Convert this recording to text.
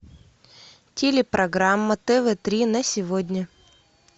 телепрограмма тв три на сегодня